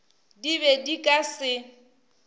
di be di ka se